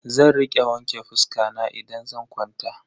Zan rika wanke fuska na idan zan kwanta.